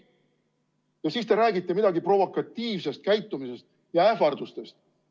Ja siis te räägite midagi provokatiivsest käitumisest ja ähvardustest.